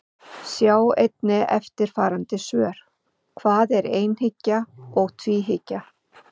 Sjá einnig eftirfarandi svör: Hvað er einhyggja og tvíhyggja?